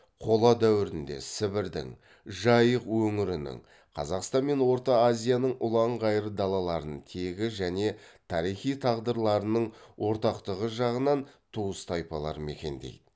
қола дәуірінде сібірдің жайық өңірінің қазақстан мен орта азияның ұлан ғайыр далаларын тегі және тарихи тағдырларының ортақтығы жағынан туыс тайпалар мекендейді